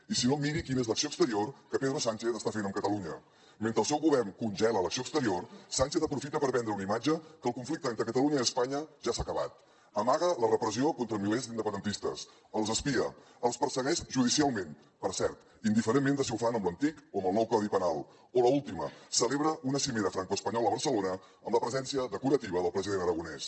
i si no miri quina és l’acció exterior que pedro sánchez està fent amb catalunya mentre el seu govern congela l’acció exterior sánchez aprofita per vendre una imatge que el conflicte entre catalunya i espanya ja s’ha acabat amaga la repressió contra milers d’independentistes els espia els persegueix judicialment per cert indiferentment de si ho fan amb l’antic o amb el nou codi penal o l’última celebra una cimera francoespanyola a barcelona amb la presència decorativa del president aragonès